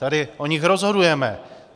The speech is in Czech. Tady o nich rozhodujeme.